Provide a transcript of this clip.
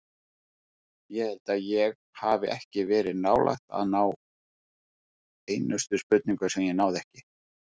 Ég held ég hafi ekki verið nálægt að ná einustu spurningu sem ég náði ekki.